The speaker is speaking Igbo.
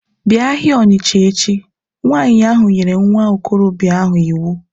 Bịa ahịa Ọnịsha echi! Nwanyị ahụ nyere nwa okorobịa ahụ iwu